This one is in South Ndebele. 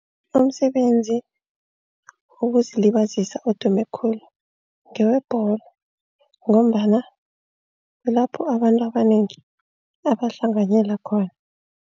Umsebenzi wokuzilibazisa odume khulu ngewebholo ngombana kulapho abantu abanengi angahlanganyela khona.